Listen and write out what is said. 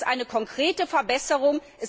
Es ist eine konkrete Verbesserung.